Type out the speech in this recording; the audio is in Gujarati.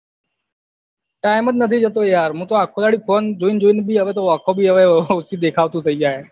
time જ નથી જતો યાર હું તો આખો દિવસ phone જોઈન જોઈન ભી હવે ઓંખો ભી હવે ઓછુ દેખાતું થઇ જાય હવે